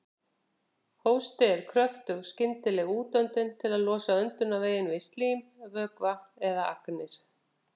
Hósti er kröftug skyndileg útöndun til að losa öndunarveginn við slím, vökva eða agnir.